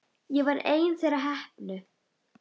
Ég var ein þeirra heppnu.